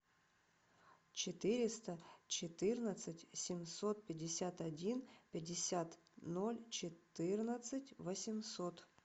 четыреста четырнадцать семьсот пятьдесят один пятьдесят ноль четырнадцать восемьсот